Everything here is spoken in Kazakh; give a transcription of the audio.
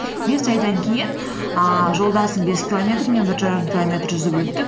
бес айдан кейін ііі жолдасым бес километр мен бір жарым километр жүзіп өттік